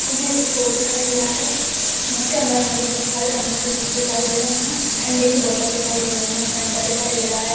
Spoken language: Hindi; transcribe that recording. मुझे एक स्टोर दिखाई दे रहा है जिसके अंदर मुझे बहुत सारे अमूल के दूध दिखाई दे रहे है ठंडे की बोतल दिखाई दे रही है फेंटा दिखाई दे रहा है।